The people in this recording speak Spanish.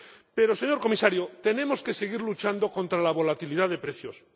pero, señor Comisario, tenemos que seguir luchando contra la volatilidad de precios.